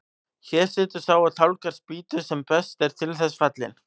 Hér situr sá og tálgar spýtu sem best er til þess fallinn.